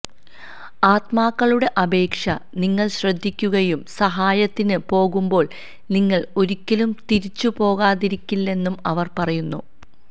ആത്മാക്കളുടെ അപേക്ഷ നിങ്ങൾ ശ്രദ്ധിക്കുകയും സഹായത്തിന് പോകുമ്പോൾ നിങ്ങൾ ഒരിക്കലും തിരിച്ചുപോകാതിരിക്കില്ലെന്ന് അവർ പറയുന്നു